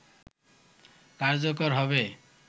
কার্যকর হবে